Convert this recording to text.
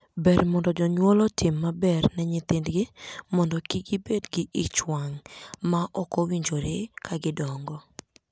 Ber mondo jonyuol otim maber ne nyithindgi mondo kik gibed gi ich wang' ma ok owinjore ka gidongo.